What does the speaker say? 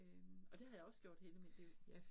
Øh og det har jeg også gjort hele mit liv